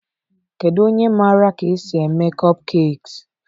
Kedu onye maara ka esi eme kopkekiis?